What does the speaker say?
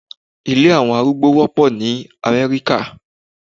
Ilé àwọn arúgbó wọ́pọ̀ ní Amẹ́ríkà